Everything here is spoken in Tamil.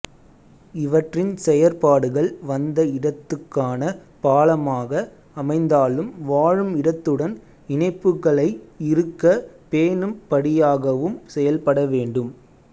இவற்றின் செயற்பாடுகள் வந்த இடத்துகான பாலமாக அமைந்தாலும் வாழும் இடத்துடன் இணைப்புக்களை இறுக பேணும் படியாகவும் செயல்படவேண்டும்